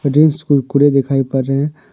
कुरकुरे दिखाई पर रहे हैं।